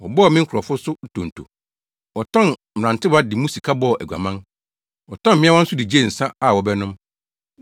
Wɔbɔɔ me nkurɔfo so ntonto, Wɔtɔn mmerantewa de mu sika bɔɔ aguaman. Wɔtɔn mmeawa nso de gyee nsa, a wɔbɛnom.